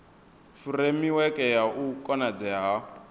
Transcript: furemiweke ya u konadzea ha